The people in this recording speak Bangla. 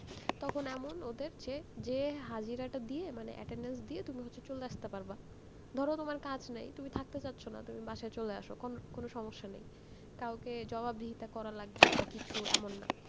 তখন এমন ওদের যে, যে হাজিরা টা দিয়ে মানে attendence দিয়ে তুমি হচ্ছে চলে আসতে পারবা, ধরো তোমার কাজ নেই, তুমি থাকতে চাচ্ছ না, তুমি বাসায় চলে আসো, কোন~ কোনো সমস্যা নেই, কাওকে জবাবদিহিতা করা লাগবে বা কিছু, এমন না।